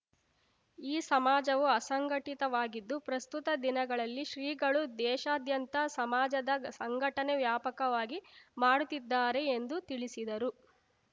ಈ ಸಮಾಜವು ಅಸಂಘಟಿತ ವಾಗಿದ್ದು ಪ್ರಸ್ತುತ ದಿನಗಳಲ್ಲಿ ಶ್ರೀಗಳು ದೇಶಾದ್ಯಂತ ಸಮಾಜದ ಸಂಘಟನೆ ವ್ಯಾಪಕವಾಗಿ ಮಾಡುತ್ತಿದ್ದಾರೆ ಎಂದು ತಿಳಿಸಿದರು